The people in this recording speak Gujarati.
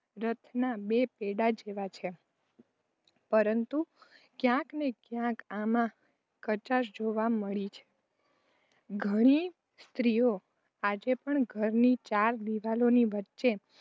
રથના બે પૈડાં જેવા છે, પરંતુ ક્યાંકને ક્યાંક આમાં કચાશ જોવા મળે છે. ઘણી સ્ત્રીઓ આજે પણ ઘરની ચાર દીવાલોની વચ્ચે